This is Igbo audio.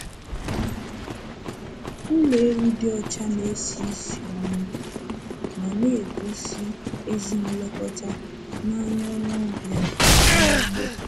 Ụlọ ewu dị ọcha na-esi ísì ọma ma na-egosi ezi nlekọta n'anya onye ọbịa n'ugbo.